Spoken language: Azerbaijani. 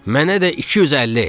"Mənə də 250!"